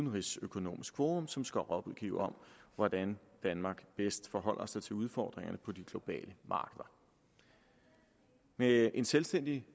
udenrigsøkonomisk forum som skal rådgive om hvordan danmark bedst forholder sig til udfordringerne på de globale markeder med et selvstændigt